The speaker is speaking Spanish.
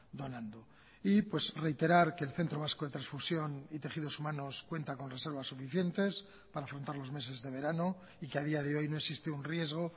donando y reiterar que el centro vasco de transfusión y tejidos humanos cuenta con reservas suficientes para afrontar los meses de verano y que a día de hoy no existe un riesgo